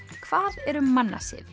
hvað eru mannasiðir